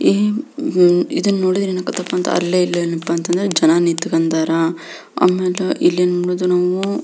ಈ ಇದನ್ನ ನೋಡಿದ್ರೆ ಏನ್ ಅಗತ್ ಪ ಅಂದ್ರೆ ಅಲ್ಲೇ ಇಲ್ಲೇ ಯೇನಾ ಅಂದ್ರೆ ಜನ ನಿಂಥಂಕೊಂತರ ಆಮೇಲೆ ಇಲ್ಲಿ ನೋಡೋದು ನಾವು --